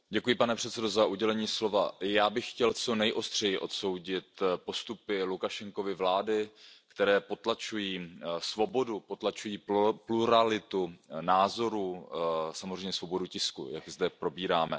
Pane předsedající, já bych chtěl co nejostřeji odsoudit postupy Lukašenkovy vlády, které potlačují svobodu, potlačují pluralitu názorů, samozřejmě svobodu tisku, jak zde probíráme.